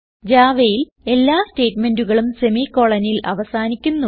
Javaയിൽ എല്ലാ സ്റ്റേറ്റ്മെന്റുകളും semicolonൽ അവസാനിക്കുന്നു